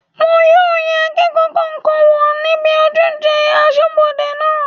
Wọn yóò yẹ akẹ́kọ̀ọ́ kọ̀ọ̀kan wò níbi ojúṣe asọ́bodè náà